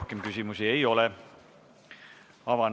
Teile küsimusi ei ole.